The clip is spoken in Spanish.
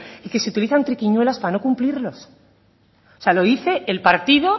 y que se utilizan triquiñuelas para no cumplirlos o sea lo dice el partido